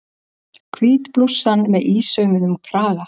Hvít blússan með ísaumuðum kraga.